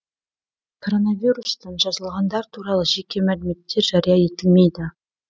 коронавирустан жазылғандар туралы жеке мәліметтер жария етілмейді